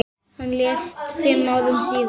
Hann lést fimm árum síðar.